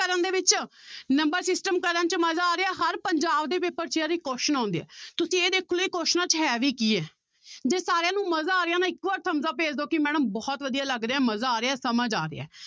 ਕਰਨ ਦੇ ਵਿੱਚ number system ਕਰਨ 'ਚ ਮਜ਼ਾ ਆ ਰਿਹਾ, ਹਰ ਪੰਜਾਬ ਦੇ ਪੇਪਰ ਯਾਰ ਇਹ question ਆਉਂਦੇ ਹੈ ਤੁਸੀਂ ਇਹ ਦੇਖੋ ਇਹ ਕੁਆਸਚਨਾਂ 'ਚ ਹੈ ਵੀ ਕੀ ਹੈ ਜੇ ਸਾਰਿਆਂ ਨੂੰ ਮਜ਼ਾ ਆ ਰਿਹਾ ਨਾ ਇੱਕ ਵਾਰ thumbs up ਭੇਜ ਦਓ ਕਿ madam ਬਹੁਤ ਵਧੀਆ ਲੱਗ ਰਿਹਾ ਮਜ਼ਾ ਆ ਰਿਹਾ ਸਮਝ ਆ ਰਿਹਾ ਹੈ।